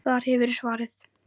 Þar hefurðu svarið.